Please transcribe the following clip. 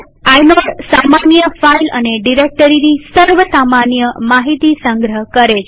inode સામાન્ય file અને ડિરેક્ટરીની સર્વ સામાન્ય માહિતી સંગ્રહ કરે છે